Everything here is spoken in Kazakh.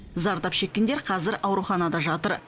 зардап шеккендер қазір ауруханада жатыр